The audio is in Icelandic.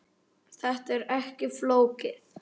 Þetta er ekki flókið